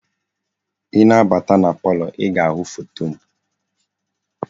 I na-abata na palọ, i ga-ahụ foto m.